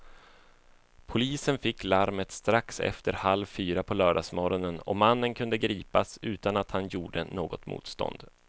Polisen fick larmet strax efter halv fyra på lördagsmorgonen och mannen kunde gripas utan att han gjorde något motstånd.